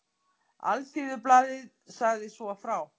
Alþýðublaðið sagði svo frá